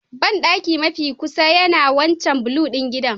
Bandaki mafi kusa yana a wancan blue ɗin gidan